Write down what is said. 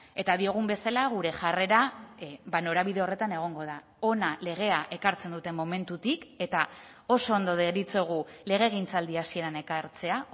eta diogun bezala gure jarrera norabide horretan egongo da hona legea ekartzen duten momentutik eta oso ondo deritzogu legegintzaldi hasieran ekartzea